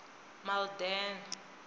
malden